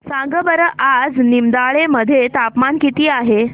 सांगा बरं आज निमडाळे मध्ये तापमान किती आहे